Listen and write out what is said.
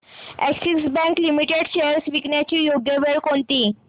Axis Bank Limited shares विकण्याची योग्य वेळ कोणती